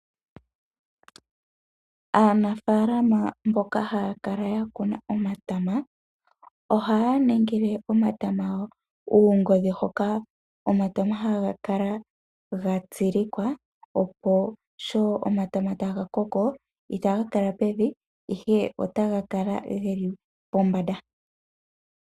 Aanafaalama mboka haya kala ya kuna omatama ohaya ningile omatama gawo uungodhi hoka omatama haga kala ga tsilikwa sho omatama taga koko itaga kala pevi ihe otaga kala pombanda.